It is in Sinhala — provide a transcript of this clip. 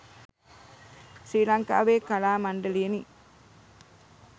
ශ්‍රී ලංකාවේ කලා මණ්ඩලයෙනි.